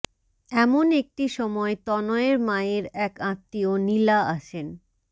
এমন একটি সময় তনয়ের মায়ের এক আত্মীয় নীলা আসেন